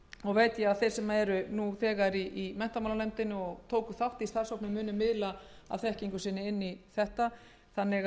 og veit ég að þeir sem eru nú þegar í menntamálanefnd og tóku þátt í starfshópnum munu miðla af þekkingu sinni inn í þetta þannig